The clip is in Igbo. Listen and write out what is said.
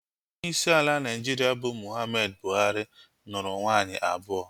Onyeisi ala Naịjirịa bụ Muhammadu Buhari, nụrụ nwaanyị abụọ